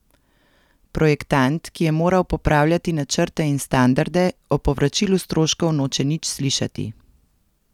Projektant, ki je moral popravljati načrte in standarde, o povračilu stroškov noče nič slišati.